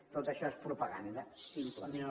tot això és propaganda simple